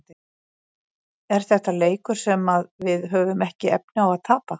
Er þetta leikur sem að við höfum ekki efni á að tapa?